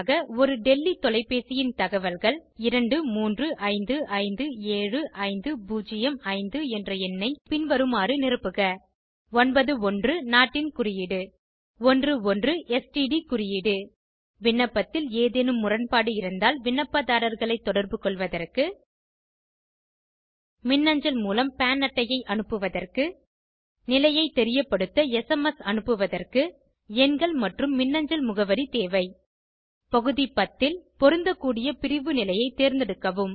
ஒரு டெல்லி தொலைப்பேசியின் தகவல்கள் 23557505 என்ற எண்ணை பின்வருமாறு நிரப்புக 9 1 நாட்டின் குறியீடு 1 1 ஸ்ட்ட் குறியீடு விண்ணப்பத்தில் ஏதேனும் முரண்பாடு இருந்தால் விண்ணப்பதாரர்களை தொடர்பு கொள்வதற்கு மின்னஞ்சல் மூலம் பான் அட்டையை அனுப்புவதற்கு நிலையை தெரியப்படுத்த எஸ்எம்எஸ் அனுப்புவதற்கு எண்கள் மற்றும் மின்னஞ்சல் முகவரி தேவை பகுதி 10 ல் பொருந்தக்கூடிய பிரிவு நிலையை தேர்ந்தெடுக்கவும்